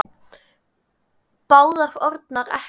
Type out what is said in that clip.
Báðar orðnar ekkjur.